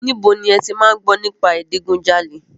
Níbo ni ẹ ti máa ń gbọ́ nípa ìdigunjalè?